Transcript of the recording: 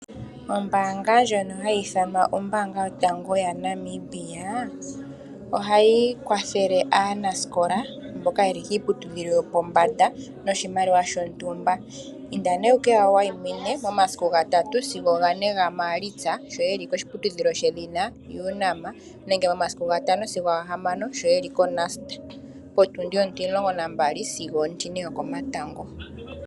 Ombanga ndjono hayithanwa ombanga yotango ya Namibia, ohayi kwathele anasikola mboka yeli piiputudhilo yopombanda noshimaliwa shontumba, inda ne wukeyangwayimine momasiku ngatatu sigo gane nga malitsa sho yeli koshiputudhilo she dhina UNAM nenge momasiku ngatano sigo ngahamano sho yeli ko NUST potundi otilongo nambali sigo otine yokomatango.